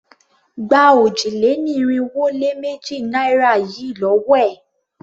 Gba òjì-lé-ní-irinwó-lé-méjì naira yìí lówó è!